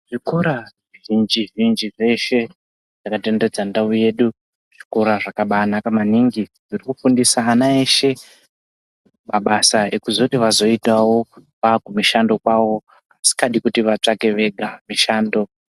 Zvikora zvi zhinji zhinji zveshe zvaka tenderedza ndau yedu zvikora zvakabai naka maningi zviri kufundisa ana eshe mabasa ekuzoti vazoitawo vaku mishando kwavo vasikadi kuti vatsvake vega mushando.